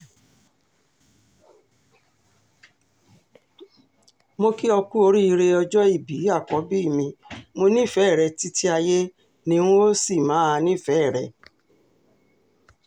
mo kí ó ku oríire ọjọ́bí àkọ́bí mi mo nífẹ̀ẹ́ rẹ títí ayé ni n óò sì máa nífẹ̀ẹ́ rẹ